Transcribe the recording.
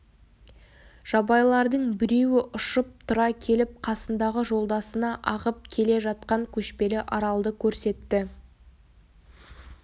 жабайылардың біреуі ұшып тұра келіп қасындағы жолдасына ағып келе жатқан көшпелі аралды көрсетті